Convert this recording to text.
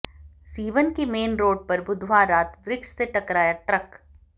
सीवन के main road पर बुधवार रात वृक्ष से टकराया ट्रक